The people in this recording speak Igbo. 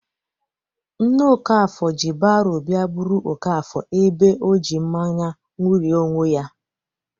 Nne Okafor ji baro bịa buru Okafor ebe ọjị mmanya ṅụrie onwe ya.